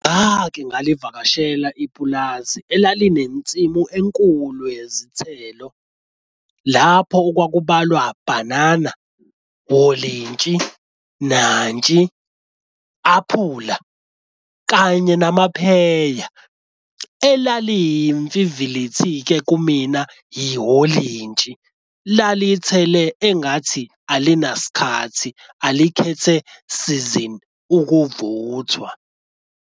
Ngake ngalivakashela ipulazi elalinensimu enkulu yezithelo, lapho okwakubalwa bhanana, olintshi, nantsi aphula, kanye namapheya. Elalimfivilithi-ke kumina i-olintshi lalithele engathi alinasikhathi alikhethe sizini ukuvuthwa.